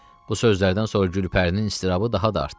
Bu sözlərdən sonra Gülpərinin iztirabı daha da artdı.